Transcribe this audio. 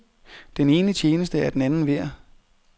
Den ene tjeneste er den anden værd.